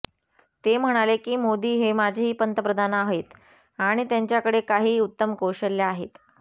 ते म्हणाले की मोदी हे माझेही पंतप्रधान आहेत आणि त्यांच्याकडे काही उत्तम कौशल्यं आहेत